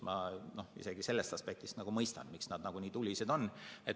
Ma isegi sellest aspektist nagu mõistan, miks nad nii tulised on.